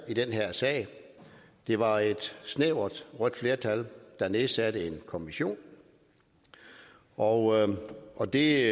i den her sag det var et snævert rødt flertal der nedsatte en kommission og og det